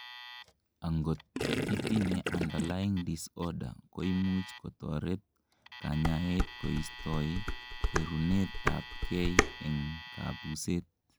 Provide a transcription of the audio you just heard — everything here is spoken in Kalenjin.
angot itinyei underlying disorder, koimuch kotoret kanyaet koistoi kwerunet abgei en kabuset